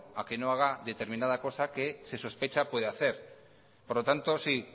a que no haga determinada cosa que se sospecha puede hacer por lo tanto